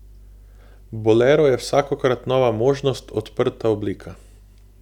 Bolero je vsakokrat nova možnost, odprta oblika.